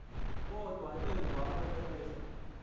kodwa emva kwexesha